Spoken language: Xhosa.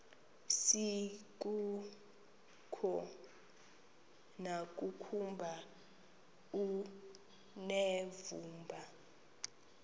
asikuko nokuba unevumba